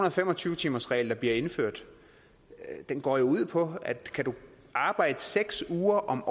og fem og tyve timersregel der bliver indført går jo ud på at kan du arbejde seks uger om